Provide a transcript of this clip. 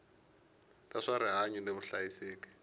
ta swa rihanyu ni vuhlayiseki